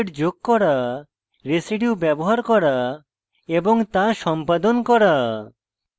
residues ব্যবহার করা এবং to সম্পাদন করা